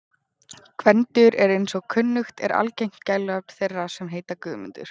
Gvendur er eins og kunnugt er algengt gælunafn þeirra sem heita Guðmundur.